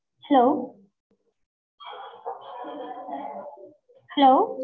hello hello